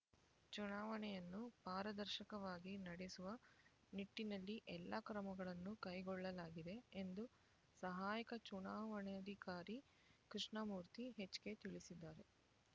ಚುನಾವಣೆಯನ್ನು ಪಾರದರ್ಶಕವಾಗಿ ನಡೆಸುವ ನಿಟ್ಟಿನಲ್ಲಿ ಎಲ್ಲಾ ಕ್ರಮಗಳನ್ನು ಕೈಗೊಳ್ಳಲಾಗಿದೆ ಎಂದು ಸಹಾಯಕ ಚುನಾವಣಾಧಿಕಾರಿ ಕೃಷ್ಣಮೂರ್ತಿ ಎಚ್ಕೆ ತಿಳಿಸಿದ್ದಾರೆ